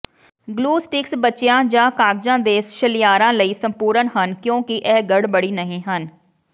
glue sticks ਬੱਚਿਆਂ ਜਾਂ ਕਾਗਜ਼ਾਂ ਦੇ ਸ਼ਲਿਅਰਾਂ ਲਈ ਸੰਪੂਰਣ ਹਨ ਕਿਉਂਕਿ ਇਹ ਗੜਬੜੀ ਨਹੀਂ ਹਨ